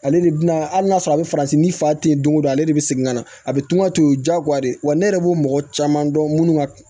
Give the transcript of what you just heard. Ale de bi na hali n'a sɔrɔ a be farafin ni fa te yen don ko don ale de bɛ segin ka na a bɛ tunga to ye diyagoya de ye wa ne yɛrɛ b'o mɔgɔ caman dɔn minnu ka